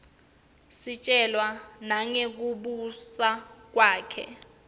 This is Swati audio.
sitjelwa nangekubusa kwakhe